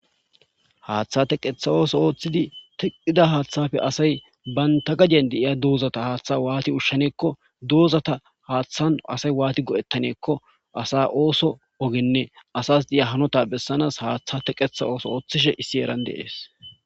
haaththa teqetha ooso ooththidi teqida haaththafe asay baynta gajen deiya duuzata haaththa waati ushshaneekko duuzata haaththan asay waati go7ettaneekko asa ooso ogenne asas di7iya hanota bessanaas haaththa teqetha ooso ooththishe issi eran deees